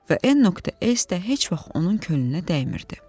Və N.S. də heç vaxt onun könlünə dəymirdi.